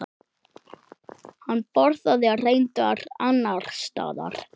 Hann borðaði reyndar annars staðar.